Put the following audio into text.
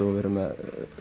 og við erum með